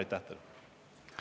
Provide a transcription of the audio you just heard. Aitäh teile!